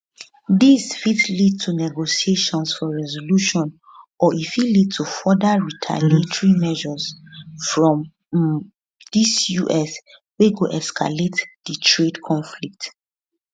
dis fit lead to negotiations for resolution or e fit lead to further retaliatory measures from um di us wey go escalate di trade conflict